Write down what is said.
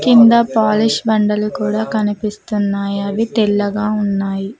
కింద పాలిష్ పండలు కూడా కనిపిస్తున్నాయి అవి తెల్లగా ఉన్నాయి.